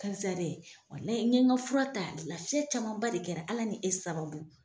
Karisa dɛ walahi n ye ŋa fura ta, lafiya camanba de kɛra Ala ni e sababu.